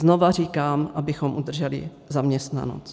Znova říkám - abychom udrželi zaměstnanost.